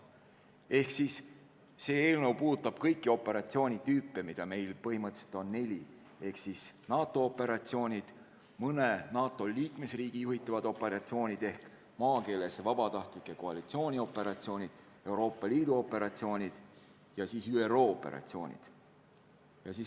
Ehk see eelnõu puudutab kõiki operatsioonitüüpe, mida meil on põhimõtteliselt neli: NATO operatsioonid, mõne NATO liikmesriigi juhitavad operatsioonid ehk maakeeles vabatahtlike koalitsioonioperatsioonid, Euroopa Liidu operatsioonid ja ÜRO operatsioonid.